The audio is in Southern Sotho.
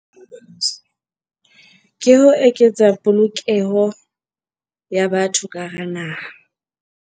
Ke ho eketsa polokeho ya batho ka hara naha.